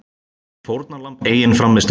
Fórnarlamb eigin frammistöðu